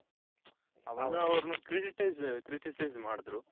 ಅವಾಗ ಅವೃನ್ನ critics ಮಾಡುದ್ರು